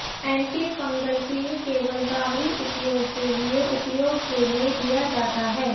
antifungal cream केवल बाहरी उपयोग के लिए उपयोग के लिए दिया जाता है